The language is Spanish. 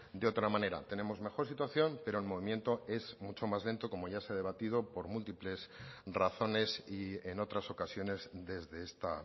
de otra manera tenemos mejor situación pero en movimiento es mucho más lento como ya se ha debatido por múltiples razones y en otras ocasiones desde esta